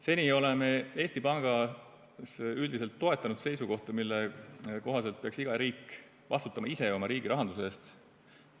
Seni oleme Eesti Pangas üldiselt toetanud seisukohta, mille kohaselt peaks iga riik ise oma riigirahanduse eest vastutama.